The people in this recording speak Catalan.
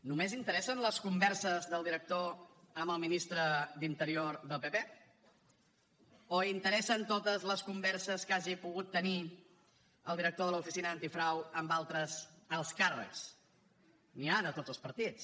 només interessen les converses del director amb el ministre d’interior del pp o interessen totes les converses que hagi pogut tenir el director de l’oficina antifrau amb altres alts càrrecs n’hi ha de tots els partits